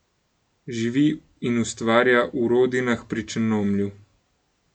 Živi in ustvarja v Rodinah pri Črnomlju.